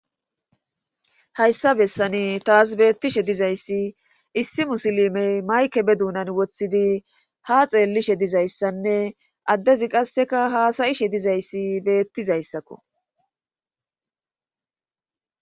Hayssa bessani taas beettishe dizayssi issi musilimey mayke be duunan wothidi ha xeellishe dizayssanne addezi qasseka haasayishe dizayssi beettizayssakko.